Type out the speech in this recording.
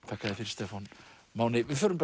þakka þér fyrir Stefán Máni við förum